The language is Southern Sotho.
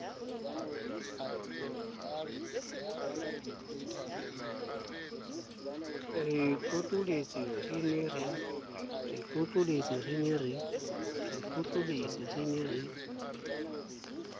re tlotlolotse re ne re